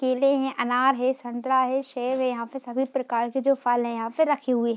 केले हैं अनार है संतरा है सेब है यहाँ पर सभी प्रकार के जो फल यहाँ पे रखी हुई --